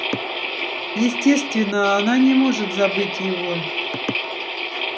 естественно она не может забыть его